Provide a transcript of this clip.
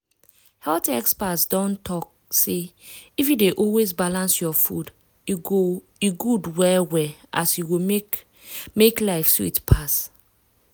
health experts don talk say if you dey always balance your food e good well well as e go make make life sweet pass.